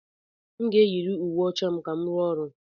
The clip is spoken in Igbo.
M ga-eyiri uwe ọcha ka m rụọ ọrụ.